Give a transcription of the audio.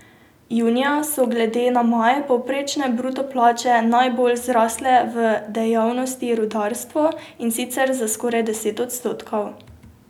Junija so glede na maj povprečne bruto plače najbolj zrasle v dejavnosti rudarstvo, in sicer za skoraj deset odstotkov.